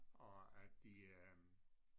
Og at de øh